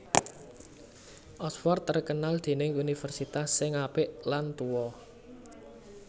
Oxford terkenal dening universitase sing apik lan tuo